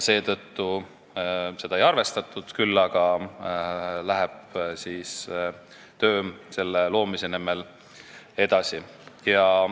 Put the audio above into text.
Seetõttu seda ettepanekut ei arvestatud, küll aga läheb töö selle loomise nimel edasi.